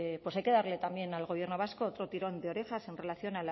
pues hay que darle también al gobierno vasco otro tirón de orejas en relación